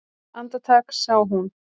Andartak sá hún